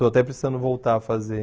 Estou até precisando voltar a fazer.